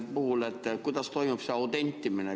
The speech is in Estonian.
Ma küsiksin, kuidas toimub selle puhul autentimine.